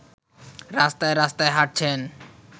রাস্তায় রাস্তায় হাঁটছেন